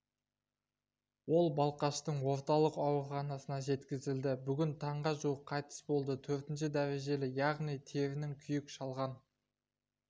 ол балқаштың орталық ауруханасына жеткізілді бүгін таңға жуық қайтыс болды төртінші дәрежелі яғни терінің күйік шалған